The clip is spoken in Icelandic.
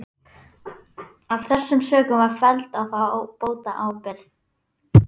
Af þessum sökum var felld á þá bótaábyrgð.